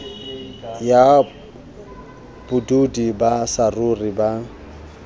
ya bodudi ba saruri ba